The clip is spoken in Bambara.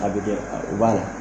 A bɛ kɛ, a bɛ b'a la.